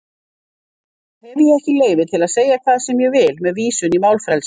Hef ég ekki leyfi til að segja hvað sem ég vil með vísun í málfrelsið?